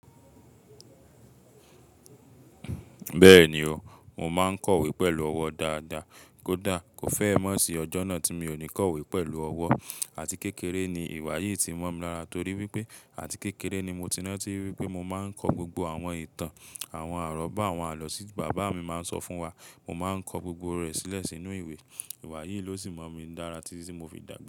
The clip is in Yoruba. Bẹ́ẹ̀ni o, mo máa ń kọ̀wé pẹ̀lú ọwọ́ dáadáa. Kódà kò fẹ́ mọ̀ sí ọjọ́ náà tí mi ò ní kọ̀wé pẹ̀lú ọwọ́. Àti kékeré ni iwa yìí ti mọ̀ mi lára torí wípé àti kékeré ni mo ti mọ̀ tí ranti wípé mo máa ń ko gbogbo àwọn ìtàn, àwọn àrọ́bá, àwọn àlọ́ tí bàbá mi máa ń sọ fún wa. Mo máa ń kọ gbogbo rẹ̀ sílẹ̀ sínú ìwé. Iwa yìí ló sì mọ̀ mí lara títi ti mo fi dàgbà.